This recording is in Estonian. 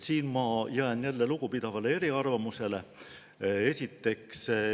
Siin ma jään jälle lugupidavale eriarvamusele.